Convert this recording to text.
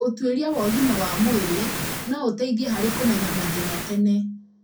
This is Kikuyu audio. ũtuĩria wa ũgima wa mwĩrĩ no ũteithie harĩ kũmenya mathĩna tene.